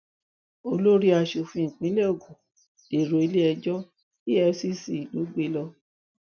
olórí aṣòfin ìpínlẹ ogun dèrò iléẹjọ efcc ló gbé e lọ